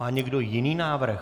Má někdo jiný návrh?